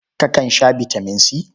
Kakan sha bitaman C?